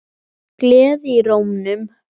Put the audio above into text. Gleði í rómnum.